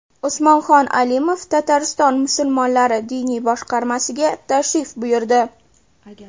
Usmonxon Alimov Tatariston musulmonlari diniy boshqarmasiga tashrif buyurdi .